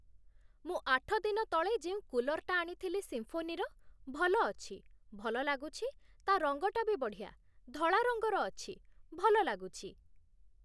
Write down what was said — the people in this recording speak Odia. ମୁଁ ଆଠଦିନ ତଳେ ଯେଉଁ କୁଲର୍‌‌‌ଟା ଆଣିଥିଲି ସିମ୍ଫୋନିର ଭଲ ଅଛି, ଭଲ ଲାଗୁଛି, ତା ରଙ୍ଗଟା ବି ବଢ଼ିଆ, ଧଳା ରଙ୍ଗର ଅଛି, ଭଲ ଲାଗୁଛି ।